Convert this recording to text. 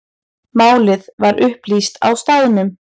Málið var upplýst á staðnum.